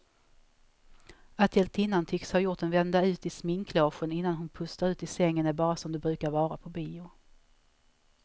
Att hjältinnan tycks ha gjort en vända ut i sminklogen innan hon pustar ut i sängen är bara som det brukar vara på bio.